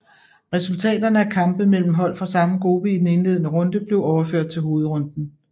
Resultaterne af kampe mellem hold fra samme gruppe i den indledende runde blev overført til hovedrunden